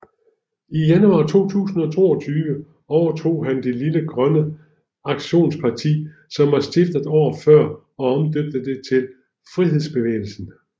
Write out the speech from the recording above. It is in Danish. I januar 2022 overtog han det lille Grønne Aktionsparti som var stiftet året før og omdøbte det til Frihedsbevægelsen